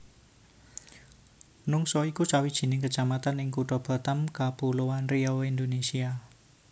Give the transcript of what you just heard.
Nongsa iku sawijining kecamatan ing Kutha Batam Kapuloan Riau Indonésia